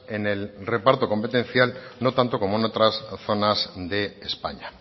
en el reparto competencial no tanto como en otras zonas de españa